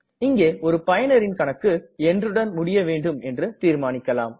இங்கே ஒரு பயனரின் கணக்கு என்றுடன் முடிய வேண்டும் என்று தீர்மானிக்கலாம்